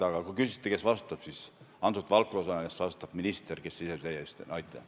Aga kui küsiti, kes vastutab, siis selle valdkonna eest vastutab minister, kes praegu teie ees seisab.